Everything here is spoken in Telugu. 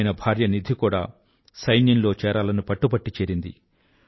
ఆయన భార్య నిధి కూడా సైన్యంలోనే చేరాలని పట్టుబట్టి చేరింది